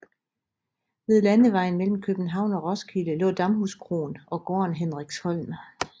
Ved landevejen mellem København og Roskilde lå Damhuskroen og gården Hendriksholm